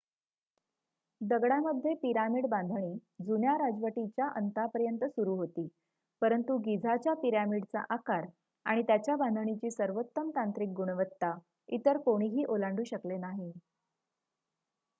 दगडामध्ये पिरामिड बांधणी जुन्या राजवटीच्या अंतापर्यंत सुरु होती परंतु गिझाच्या पिरॅमिडचा आकार आणि त्यांच्या बांधणीची सर्वोत्तम तांत्रिक गुणवत्ता इतर कोणीही ओलांडू शकले नाही